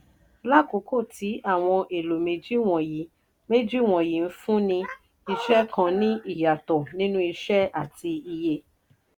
lákókò tí àwọn èlò méjì wọ̀nyí méjì wọ̀nyí ńfúnni iṣẹ́ kàn ní ìyàtọ̀ nínú iṣẹ́ àti iye.